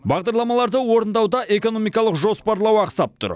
бағдарламаларды орындауда экономикалық жоспарлау ақсап тұр